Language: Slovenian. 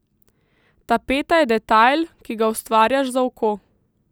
Tapeta je detajl, ki ga ustvarjaš za oko.